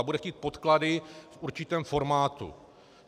A bude chtít podklady v určitém formátu.